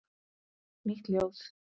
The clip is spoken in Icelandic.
Nýtt ljóð.